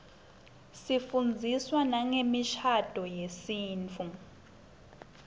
sifundziswa nangemishadvo yesintfu